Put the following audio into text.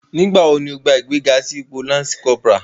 Nigbawo ni o ni igbega si ipo Lansi Kọpura?